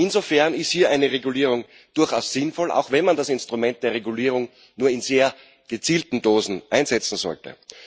Insofern ist hier eine Regulierung durchaus sinnvoll, auch wenn man das Instrument der Regulierung nur in sehr gezielten Dosen einsetzen sollte.